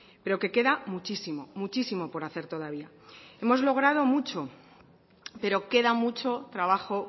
pero que queda muchísimo muchísimo por hacer todavía hemos logrado mucho pero queda mucho trabajo